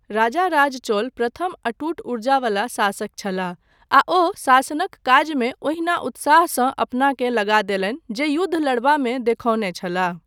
राजाराज चोल प्रथम अटूट ऊर्जा वला शासक छलाह, आ ओ शासनक काजमे ओहिना उत्साहसँ अपनाकेँ लगा देलनि जे युद्ध लड़बामे देखौने छलाह।